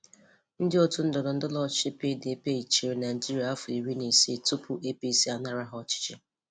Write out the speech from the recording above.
Ndị otú ndọrọndọrọ ọchịchị PDP chịrị Naịjirịa afọ iri na isii tupu APC a nara ha ọchịchị